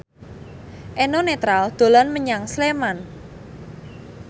Eno Netral dolan menyang Sleman